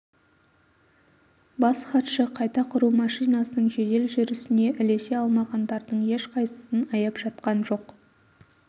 бас хатшы қайта құру машинасының жедел жүрісіне ілесе алмағандардың ешқайсысын аяп жатқан жоқ